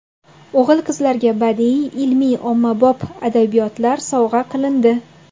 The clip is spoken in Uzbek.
O‘g‘il-qizlarga badiiy, ilmiy-ommabop adabiyotlar sovg‘a qilindi.